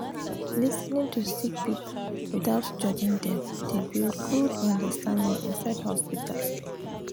lis ten ing to sick pipul witout judging dem dey build good understanding inside hosptital